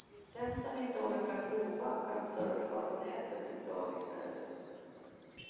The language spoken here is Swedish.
Den som inte orkar prova kan surfa på nätet ett tag i stället.